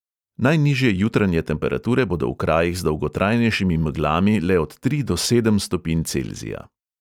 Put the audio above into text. Najnižje jutranje temperature bodo v krajih z dolgotrajnejšimi meglami le od tri do sedem stopinj celzija.